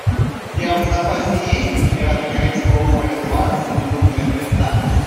у тебя в запасе есть пираты карибского моря два сундук мертвеца